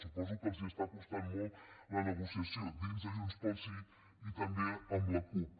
suposo que els està costant molt la negociació dins de junts pel sí i també amb la cup